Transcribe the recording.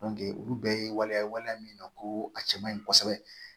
olu bɛɛ ye waliya ye waleya min na ko a cɛ man ɲi kosɛbɛ